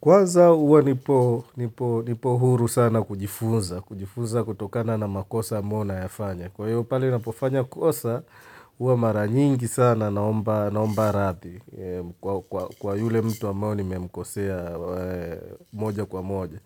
Kwaza huwa nipo huru sana kujifunza. Kujifunza kutokana na makosa amabao nayafanya. Kwa hiyo pale na pofanya kosa, huwa mara nyingi sana naomba radhi. Kwa yule mtu ambayo nimemkosea moja kwa moja.